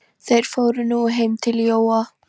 Þeir fóru nú heim til Jóa.